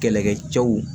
Kɛlɛkɛcɛw